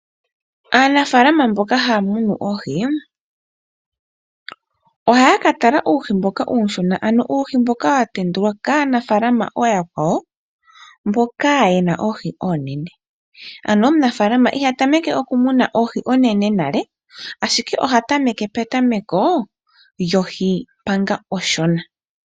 Aanafaalama mboka haya munu oohi, ohaya ka tala uuhi mboka uushona ano uuhi mboka wa tendulwa kaanafaalama ooyakwawo mboka ye na oohi oonene. Ano omunafaalama iha tameke okumuna oohi oonene nale ashike oha tameke petameko lyohi manga onshona.